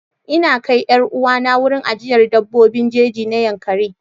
Ina kai 'yar uwana wurin ajiyar dabbobin jeji na yankaree.